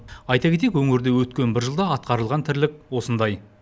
айта кетейік өңірде өткен бір жылда атқарылған тірлік осындай